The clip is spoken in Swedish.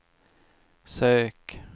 sök